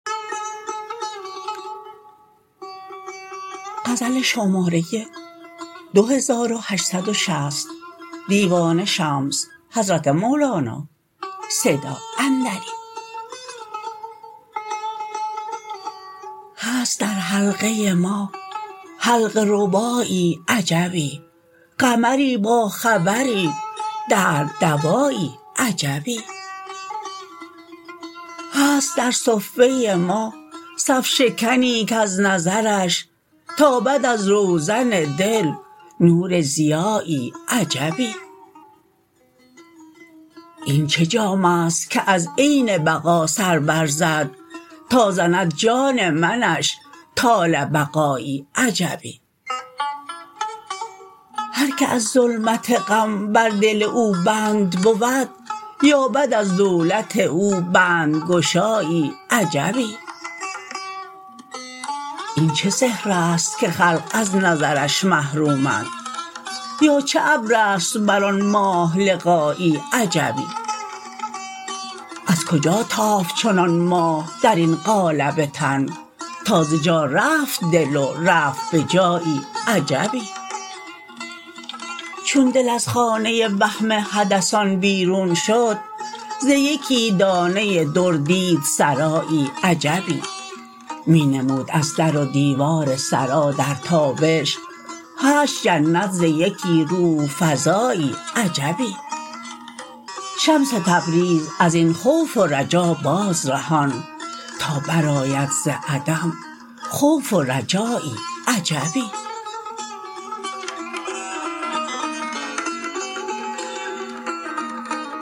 هست در حلقه ما حلقه ربایی عجبی قمری باخبری درد دوایی عجبی هست در صفه ما صف شکنی کز نظرش تابد از روزن دل نور ضیایی عجبی این چه جام است که از عین بقا سر برزد تا زند جان منش طال بقایی عجبی هر کی از ظلمت غم بر دل او بند بود یابد از دولت او بندگشایی عجبی این چه سحر است که خلق از نظرش محرومند یا چه ابر است بر آن ماه لقایی عجبی از کجا تافت چنان ماه در این قالب تن تا ز جا رفت دل و رفت به جایی عجبی چون دل از خانه وهم حدثان بیرون شد ز یکی دانه در دید سرایی عجبی می نمود از در و دیوار سرا در تابش هشت جنت ز یکی روح فزایی عجبی شمس تبریز از این خوف و رجا بازرهان تا برآید ز عدم خوف و رجایی عجبی